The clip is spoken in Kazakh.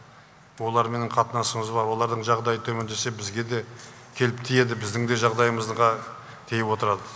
оларменен қатынасымыз бар олардың жағдайы төмендесе бізге де келіп тиеді біздің де жағдайымызға тиіп отырады